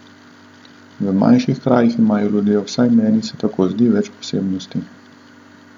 V manjših krajih imajo ljudje, vsaj meni se tako zdi, več posebnosti.